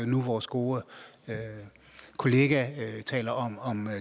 nu vores gode kollega taler om om